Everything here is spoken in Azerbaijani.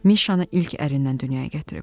Mişanı ilk ərindən dünyaya gətirib.